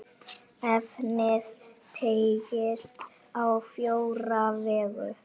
Efnið teygist á fjóra vegu.